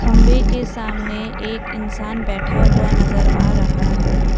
खंबे के सामने एक इंसान बैठा हुआ नजर आ रहा है।